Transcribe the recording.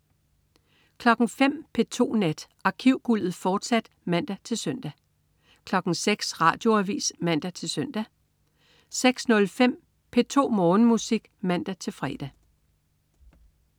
05.00 P2 Nat. Arkivguldet, fortsat (man-søn) 06.00 Radioavis (man-søn) 06.05 P2 Morgenmusik (man-fre)